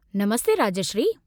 Namaste Rajshree.